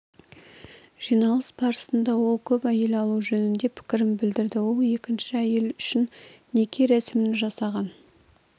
жиналыс барысында ол көп әйел алу жөнінде пікірін білдірді ол екінші әйел үшін неке рәсімін жасаған